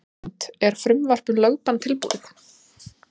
Hrund: Er frumvarp um lögbann tilbúið?